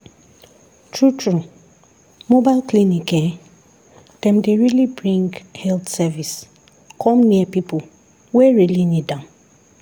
true true mobile clinic[um]dem dey really bring health service come near people wey really need am.